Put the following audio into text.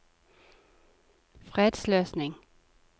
fredsløsning